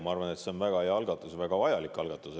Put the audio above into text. Ma arvan, et see on väga hea algatus ja väga vajalik algatus.